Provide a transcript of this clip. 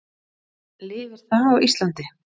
Lifir það á Íslandi?